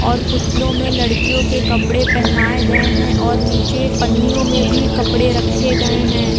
और पुतलों में लड़कियों के कपड़े पहनाए गए हैं और नीचे पन्नियों में भी कपड़े रखे गए हैं।